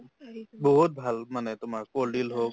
বহুত ভাল মানে তোমাৰ কল দিল